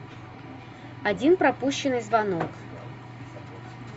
один пропущенный звонок